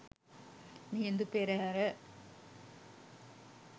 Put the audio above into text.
Mihindu Perahera